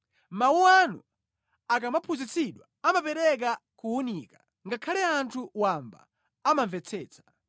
Mawu anu akamaphunzitsidwa amapereka kuwunika; ngakhale anthu wamba amamvetsetsa.